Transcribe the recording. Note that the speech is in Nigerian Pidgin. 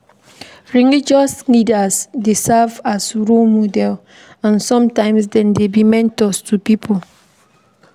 Religious leaders dey serve as role models and sometimes dem dey be mentor to pipo